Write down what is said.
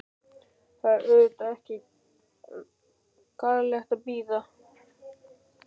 En það var auðvitað ekki gerlegt að bíða.